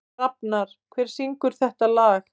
Rafnar, hver syngur þetta lag?